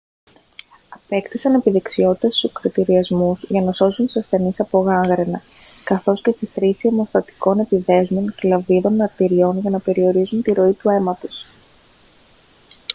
απέκτησαν επιδεξιότητα στους ακρωτηριασμούς για να σώζουν τους ασθενείς από γάγγραινα καθώς και στη χρήση αιμοστατικών επιδέσμων και λαβίδων αρτηριών για να περιορίζουν τη ροή του αίματος